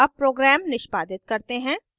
अब program निष्पादित करते हैं